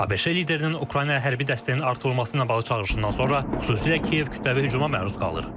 ABŞ liderinin Ukrayna hərbi dəstəyinin artırılması ilə bağlı çağırışından sonra xüsusilə Kiyev kütləvi hücuma məruz qalır.